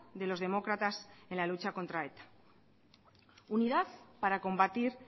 de los demócratas en la lucha contra eta unidad para combatir